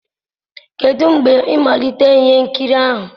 kedụ mgbe mmalite ihe nkiri ahụ?